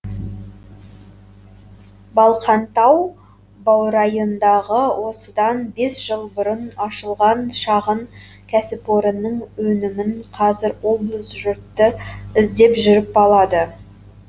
балқантау баурайындағы осыдан бес жыл бұрын ашылған шағын кәсіпорынның өнімін қазір облыс жұрты іздеп жүріп алады